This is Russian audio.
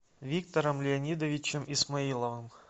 виктором леонидовичем исмаиловым